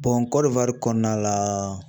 Kɔdiwari kɔnɔna la